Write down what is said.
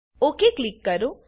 okay click કરો